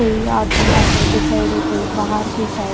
कोई आदमी अन्दर के साइड है कोई बाहार के साइड --